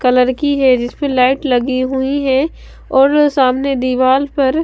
colour की है जिसपे लाइट लगी हुईं हैं और सामने दीवाल पर--